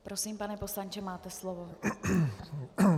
Prosím, pane poslanče, máte slovo.